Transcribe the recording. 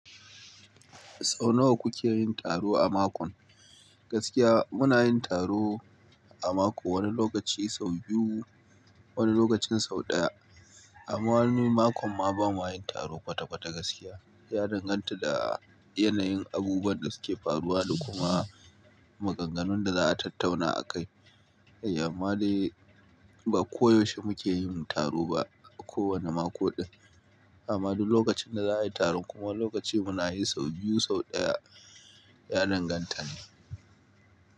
Sau nawa kuke yin taro a mako? Gaskiya muna yin taro a mako wani lokaci sau biyu, wani lokacin sau ɗaya. Amma wani makon ma bama yin taro kwata-kwata gaskiya. Ya danganta da yanayin abubuwan da suke faruwa da kuma maganganun da za a tattauna a kai. Amma dai ba ko yaushe muke yin taro ba a kowane mako din. Amma duk lokacin da za a yi taro kuma lokaci muna yi sau biyu, sau daya. Ya danganta ne.